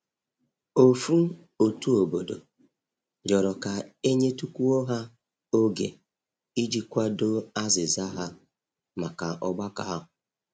Ofu otu obodo rịọrọ ka e nyetukwuo ha oge i ji kwado azịza ha maka ọgbakọ ahu.